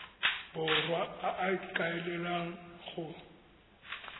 borwa a a ikaelelang go